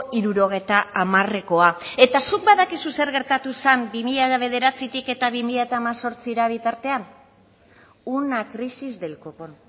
hirurogeita hamarekoa eta zuk badakizu zer gertatu zen bi mila bederatzitik bi mila hemezortzira bitartean una crisis del copón